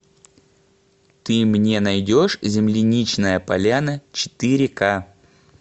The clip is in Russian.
ты мне найдешь земляничная поляна четыре ка